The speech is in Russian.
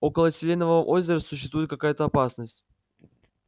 около селенового озера существует какая-то опасность